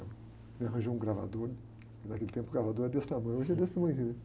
me arranjou um gravador, que naquele tempo o gravador era desse tamanho, hoje é desse tamanhozinho, né?